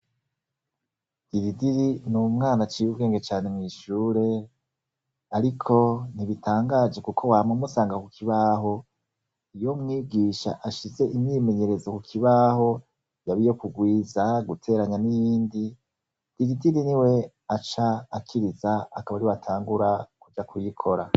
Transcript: Dilidiri ni umwana cibe ubwenge cane mwishure, ariko ntibitangaje, kuko wama musanga ku kibaho iyo mwigisha ashize imyimenyerezo ku kibaho yabeiyo kugwiza guteranya n'indi iridiri ni we aca akiriza akaba ari watangura kuja kuyikora.